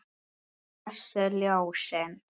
Blessuð ljósin.